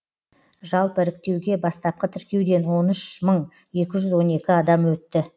жалпы іріктеуге бастапқы тіркеуден он үш мың екі жүз он екі адам өтті